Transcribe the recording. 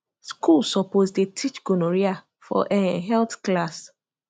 school suppose dey teach gonorrhea for um health class